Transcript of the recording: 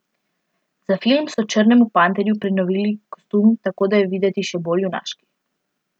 Za film so Črnemu panterju prenovili kostum, tako da je videti še bolj junaški.